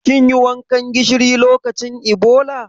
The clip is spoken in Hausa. Kin yi wankan gishiri lokacin Ebola?